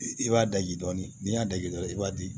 I b'a daji dɔɔnin n'i y'a daji dɔrɔn i b'a di